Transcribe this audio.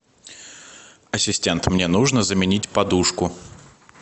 ассистент мне нужно заменить подушку